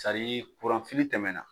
Sadi kuran fili tɛmɛna